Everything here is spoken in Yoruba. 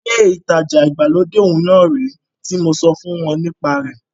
Ilé ìtajà ìgbàlódé òún rèé tí mo sọ fún ọ nípa rẹ̀.